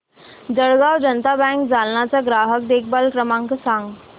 Jalgaon Janata bank Jalna चा ग्राहक देखभाल क्रमांक सांग